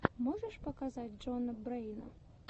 можешь показать джона брэйна